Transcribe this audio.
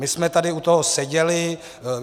My jsme tady u toho seděli.